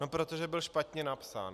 No protože byl špatně napsán.